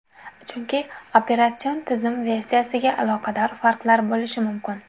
Chunki operatsion tizim versiyasiga aloqador farqlar bo‘lishi mumkin.